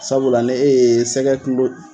Sabula ni e ye sɛgɛ kilo